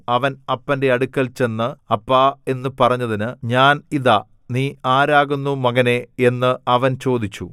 അവൻ അപ്പന്‍റെ അടുക്കൽ ചെന്ന് അപ്പാ എന്നു പറഞ്ഞതിന് ഞാൻ ഇതാ നീ ആരാകുന്നു മകനേ എന്ന് അവൻ ചോദിച്ചു